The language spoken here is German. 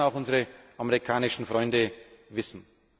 Das müssen auch unsere amerikanischen Freunde wissen.